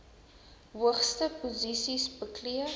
hoogste posisies beklee